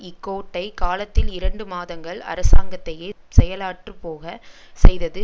இக்கோடை காலத்தில் இரண்டு மாதங்கள் அரசாங்கத்தையே செயலற்றுப்போக செய்தது